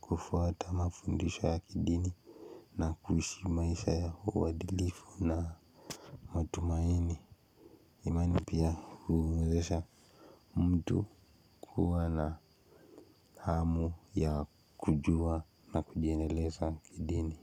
kufuata mafundusho ya kidini na kuhishi maisha ya uadilifu na matumaini. Imani pia huwezesha mtu kuwa na hamu ya kujua na kujiendeleza kidini.